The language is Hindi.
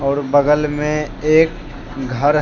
और बगल में एक घर--